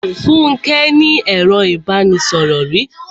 Fúnke ní ẹro ìbánisọ̀rò rí.